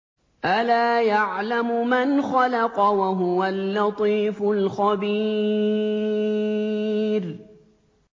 أَلَا يَعْلَمُ مَنْ خَلَقَ وَهُوَ اللَّطِيفُ الْخَبِيرُ